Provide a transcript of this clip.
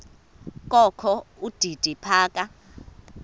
kokho udidi phaka